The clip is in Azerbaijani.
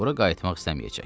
bura qayıtmaq istəməyəcək.